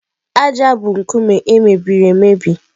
ájá bụ nkume e mebiri emebi.